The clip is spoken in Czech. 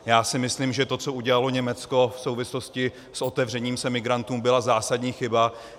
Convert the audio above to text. Já si myslím, že to, co udělalo Německo v souvislosti s otevřením se emigrantům, byla zásadní chyba.